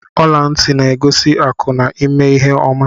Ọla ntị na-egosi akụ na ịma ihe oma.